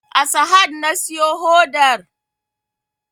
A sahad na siyo hodar